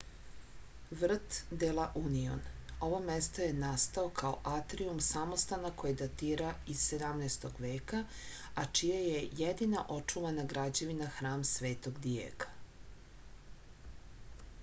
vrt de la union ovo mesto je nastao kao atrijum samostana koji datira iz 17. veka a čija je jedina očuvana građevina hram svetog dijega